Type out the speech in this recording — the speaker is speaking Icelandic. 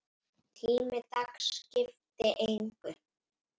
Tími dags skipti engu.